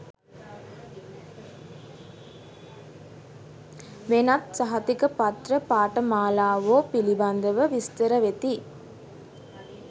වෙනත් සහතික පත්‍ර පාඨමාලාවෝ පිළිබඳව විස්තර වෙති